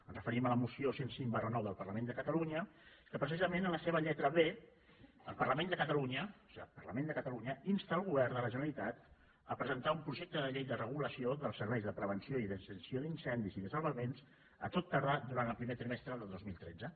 ens referim a la moció cent i cinc ix del parla·ment de catalunya que precisament en la seva lletra b el parlament de catalunya o sigui el parlament de catalunya insta el govern de la generalitat a pre·sentar un projecte de llei de regulació dels serveis de prevenció i extinció d’incendis i de salvaments a tot tardar durant el primer trimestre del dos mil tretze